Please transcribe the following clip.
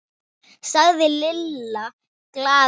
sagði Lalli glaður.